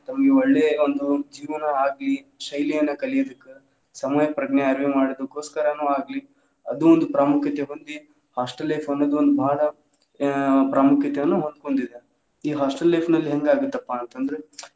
ತಮ್ಮ ಒಳ್ಳೆಯ ಒಂದ್ ಜೀವನಾ ಆಗ್ಲಿ ಶೈಲಿಯನ್ನ ಕಲಿಯೋದಕ್ಕ, ಸಮಯಪ್ರಜ್ಞೆ ಆಗ್ಲಿ ಮಾಡಿದೋಸ್ಕರನು ಆಗ್ಲಿ ಅದು ಒಂದು ಪ್ರಾಮುಕ್ಯತೇ ಹೊಂದಿ hostel life ಅನ್ನುದ ಒಂದ್ ಬಾಳ ಆ ಪ್ರಾಮುಕ್ಯತೆಯನ್ನ ಹೊಂದಕೊಂಡಿದೆ ಈ hostel life ಲ್ಲಿ ಹೆಂಗ್ ಆಗುತ್ತಪ್ಪಾ ಅಂತ ಅಂದ್ರೆ.